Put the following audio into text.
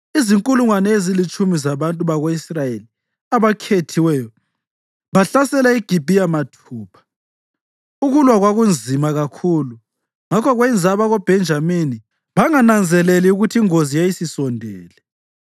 Izinkulungwane ezilitshumi zabantu bako-Israyeli abakhethiweyo bahlasela iGibhiya mathupha. Ukulwa kwakunzima kakhulu ngakho kwenza abakoBhenjamini bangananzeleli ukuthi ingozi yayisisondele.